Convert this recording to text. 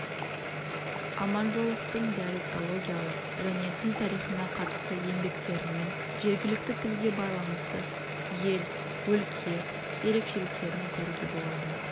аманжоловтың диалектологиялық және тіл тарихына қатысты еңбектерінен жергілікті тілге байланысты ел өлке ерекшеліктерін көруге болады